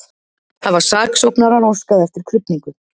Hafa saksóknarar óskað eftir krufningu